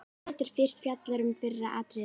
Ekki hægt að álasa þér fyrir að þiggja farið.